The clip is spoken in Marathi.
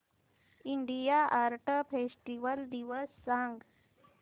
इंडिया आर्ट फेस्टिवल दिवस सांग